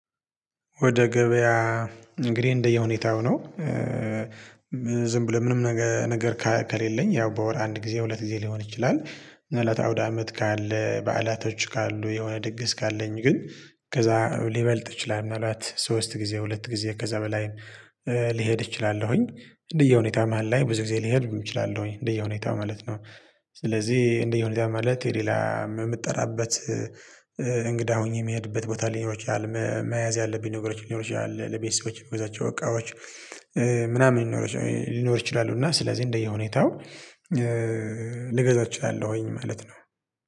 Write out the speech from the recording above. ወደ ገበያ እንግዲ እንደየሁኔታው ነው። ዝም ብሎ ምንም ነገር ከሌለኝ ያው በወር አንድ ጊዜ ሁለት ጊዜ ሊሆን ይችላል። እለተ አውደ አመት ካለ በዓላቶች ካሉ የሆነ ድግስ ካለኝ ግን ከዛ ሊበልጥ ይችላል ምናልባት ሶስት ጊዜ ሁለት ጊዜ ከዛ በላይ። ልሄድ እችላለሁኝ እንደየሁኔታ መሃል ላይ ብዙ ጊዜ ልሄድ እችላለሁኝ እንደየሁኔታው ማለት ነው። ስለዚ እንደየሁኔታ ማለት የሌላ ምጠራበት። እንግዳ ሆኜ ምሄድበት ቦታ ሊኖር ይችላል። መያዝ ያለብኝ ነገሮች ሊኖር ይችላል ለቤተሰቦች ምገዛቸው እቃዎች። ምናምን ሊኖር ይችላሉና ስለዚ እንደየሁኔታው። ልገዛ እችላለሁኝ ማለት ነው